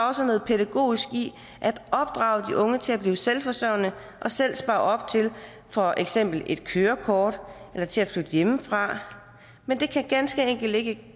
også noget pædagogisk i at opdrage de unge til at blive selvforsørgende og selv spare op til for eksempel et kørekort eller til at flytte hjemmefra men det kan ganske enkelt ikke